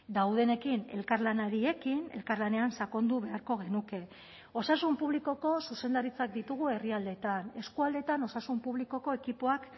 daudenekin elkarlanari ekin elkarlanean sakondu beharko genuke osasun publikoko zuzendaritzak ditugu herrialdeetan eskualdeetan osasun publikoko ekipoak